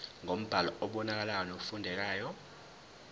ngombhalo obonakalayo nofundekayo